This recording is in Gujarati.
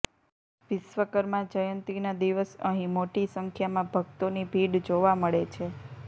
વિશ્વકર્મા જયંતિના દિવસ અહી મોટી સંખ્યામાં ભક્તોની ભીડ જોવા મળે છે